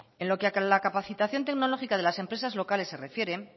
en lo que a la capacitación tecnológica de las empresas locales se refiere